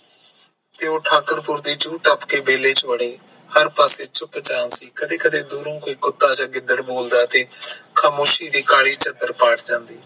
ਠਾਕੁਰ ਪੁਰ ਦੀ ਜੁ ਤਾਪ ਕੇ ਤਬੇਲੇ ਵੜ ਹਰ ਪਾਸੇ ਚੁੱਪ ਚਾਂਦ ਸੀ ਕਦੇ ਕਦੇ ਦੂਰੋਂ ਕੋਈ ਕੁਤਾ ਤੇ ਗਿਦੜ ਬੋਲਦਾ ਸੀ ਖਾਮੋਸ਼ੀ ਦੀ ਕਾਲੀ ਚਾਦਰ ਪਾਟ ਜਾਂਦੀ